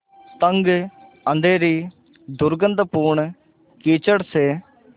तंग अँधेरी दुर्गन्धपूर्ण कीचड़ से